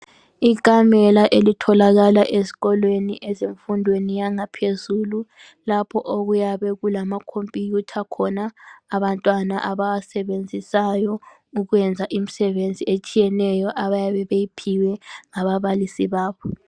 Ikamela elitholakala esikolweni ezemfundweni yangaphezulu, lapho okuyabe kulama compuyutha khona abantwana abawasebenzisayo ukuyenza imisebenzi etshiyeneyo abayabe beyiphiwe ngabalisi babo.